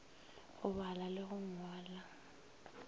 go bala le go ngwala